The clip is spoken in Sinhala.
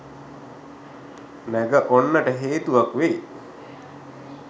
නැග ඔන්නට හේතුවක් වෙයි.